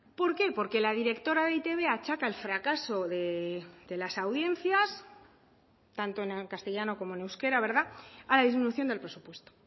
por qué porque la directora de eitb achaca el fracaso de las audiencias tanto en castellano como en euskera a la disminución del presupuesto